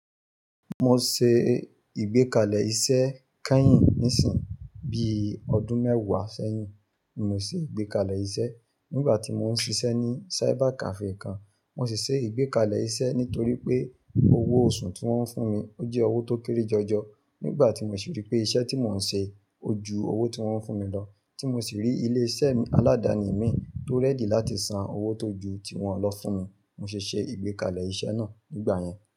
Mo se ìgbékalẹ̀ iṣẹ́ kányìn níìsín bi ọdún mẹ́wàá sẹ́yìn. N ò ṣe ìgbékalẹ̀ iṣẹ́ nígbà tí mo ń ṣiṣẹ́ ní cyber cafe kan. Mo sì ṣe ìgbékalẹ̀ iṣẹ́ nítorí pé owó oṣù tí wọ́n ń fún mi ó jẹ́ owó tó kéré jọjọ nígbà tí mo sì rí pé iṣẹ́ tí mò ń ṣe ojú owó tí wọ́n ń fún mi lọ. Tí mo sì rí ilé iṣẹ́ aladani mi tó ready láti san owó tó ju tí wọ́n lọ fún mi, mo sì ṣe ìgbékalẹ̀ iṣẹ́ náà nígbà yẹn.